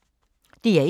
DR1